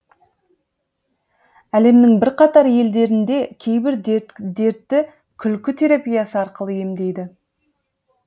әлемнің бірқатар елдерінде кейбір дертті күлкі терапиясы арқылы емдейді